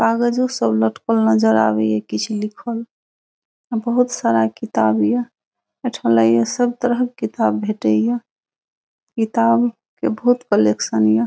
कागजों सब लटकल नजर आवे ये किच्छ लिखल अ बहुत सारा किताब ये एठा लागे ये सब तरह के किताब भेंटे ये किताब के बहुत कलेक्शन ये।